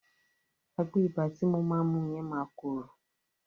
Àgbo ibà ti mo máa mu yẹn máa korò.